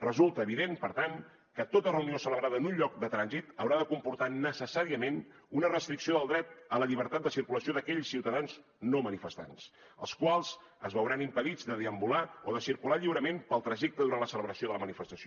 resulta evident per tant que tota reunió celebrada en un lloc de trànsit haurà de comportar necessàriament una restricció del dret a la llibertat de circulació d’aquells ciutadans no manifestants els quals es veuran impedits de deambular o de circular lliurement pel trajecte durant la celebració de la manifestació